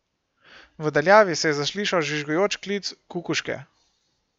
V daljavi se je zaslišal žvižgajoč klic Kukuške.